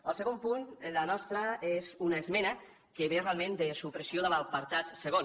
al segon punt la nostra és una esmena que ve realment de supressió de l’apartat segon